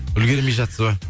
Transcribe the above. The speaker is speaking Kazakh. үлгірмей жатсыз ба